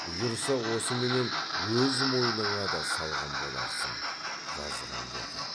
бұйырса осыменен өз мойныңа да салған боларсың жазған деді